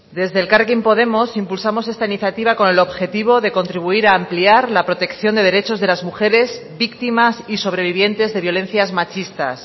desde elkarrekin podemos impulsamos esta iniciativa con el objetivo de contribuir a ampliar la protección de derechos de las mujeres víctimas y sobrevivientes de violencias machistas